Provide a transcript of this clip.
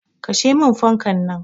Kashe min fankan nan.